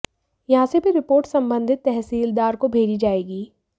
यहां से भी रिपोर्ट संबंधित तहसीलदार को भेजी जाएगी